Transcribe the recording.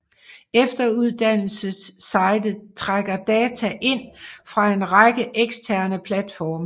Efteruddannelsessitet trækker data ind fra en række eksterne platforme